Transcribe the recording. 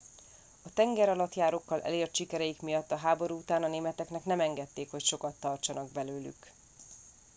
a tengeralattjárókkal elért sikereik miatt a háború után a németeknek nem engedték hogy sokat tartsanak belőlük